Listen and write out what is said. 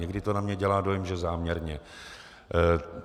Někdy to na mě dělá dojem, že záměrně.